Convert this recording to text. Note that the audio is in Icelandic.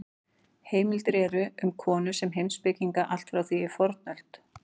Heimildir eru um konur sem heimspekinga allt frá því í fornöld.